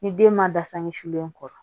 Ni den ma dasa ɲɛ sulen kɔ